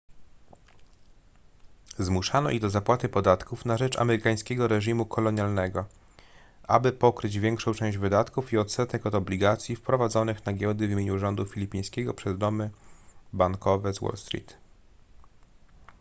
zmuszano ich do zapłaty podatków na rzecz amerykańskiego reżimu kolonialnego aby pokryć większą część wydatków i odsetek od obligacji wprowadzonych na giełdę w imieniu rządu filipińskiego przez domy bankowe z wall street